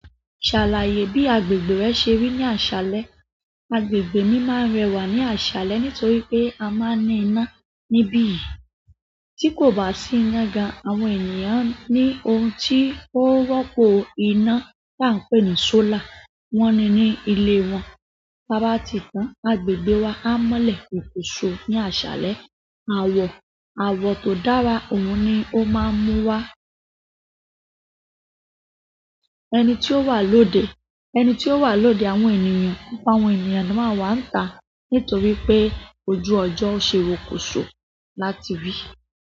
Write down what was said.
Ṣàlàyé bí agbègbè rẹ ṣe rí ní àṣálẹ́. Agbègbè mi máa ń rẹwà ní àṣálẹ́ nítorí pé a máa ń ní iná níbí yìí tí kò bá sí ina gan àwọn ènìyàn ní ohun tí ó rọ́pọ̀ iná tí à ń pè ní solar wọ́n ni ní ilé wọn. Bá bá ti tán, agbègbè wa á mọ́lẹ̀ rokoso ní àṣálẹ́. Àwọ̀, àwọ̀ tó dára òhun ni ó máa ń mú wá. Ẹni tí ó wà lóde, ẹni tí ó wà lóde àwọn ènìyàn, gbogbo àwọn ènìyàn tán máa wà ní ìta nítorí pé ojú ọjọ́ ó se rokoso láti rí.